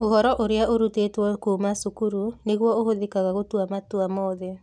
Ũhoro ũrĩa ũrutĩtwo kuuma cukuru nĩguo ũhũthĩkaga gũtua matua mothe.